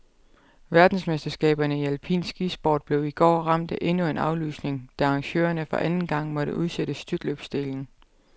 Verdensmesterskaberne i alpin skisport blev i går ramt af endnu en aflysning, da arrangørerne for anden gang måtte udsætte styrtløbsdelen.